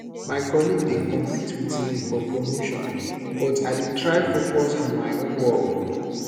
my colleague dey compete with me for promotion but i dey try focus on my own work